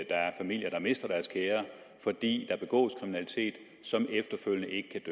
er familier der mister deres kære fordi der begås kriminalitet som efterfølgende ikke kan